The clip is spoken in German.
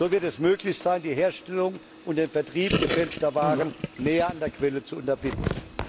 So wird es möglich sein, die Herstellung und den Vertrieb gefälschter Waren näher an der Quelle zu unterbinden.